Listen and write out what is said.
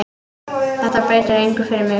Þetta breytir engu fyrir mig.